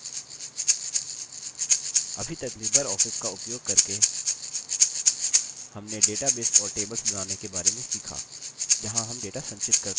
अभी तक LibreOffice का उपयोग करके हमने database और tables बनाने के बारे में सीखा जहाँ हम data संचित करते हैं